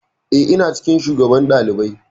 Eh, ina cikin shugaban ɗalibai.